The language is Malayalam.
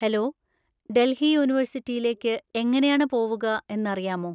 ഹെലോ, ഡൽഹി യൂണിവേഴ്സിറ്റിയിലേക്ക് എങ്ങനെയാണ് പോവുക എന്നറിയാമോ?